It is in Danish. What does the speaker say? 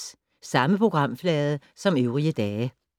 Samme programflade som øvrige dage